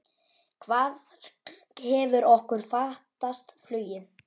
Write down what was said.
Hvar hefur okkur fatast flugið?